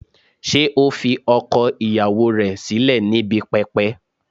Ṣé ó fi ọkọ ìyàwó rẹ̀ sílẹ̀ níbi pẹpẹ?